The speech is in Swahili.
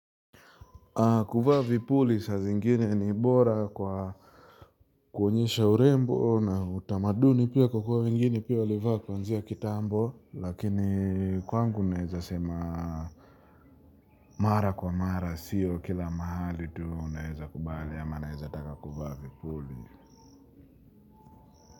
Kuvaa vipuli saa zingine ni bora kwa kuonyesha urembo na utamaduni pia kwa kuwa mingini pia walivaa kuanzia kitambo. Lakini kwangu naeza sema mara kwa mara siyo kila mahali tu naeza kubali ama naeza taka kuvaa vipuli.